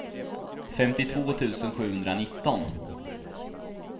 femtiotvå tusen sjuhundranitton